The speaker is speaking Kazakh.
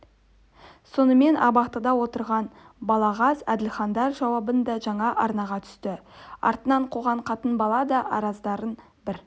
сонымен абақтыда отырған балағаз әділхандар жауабы да жаңа арнаға түсті артынан қуған қатын-бала да арыздарын бір